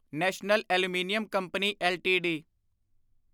national aluminium company LTD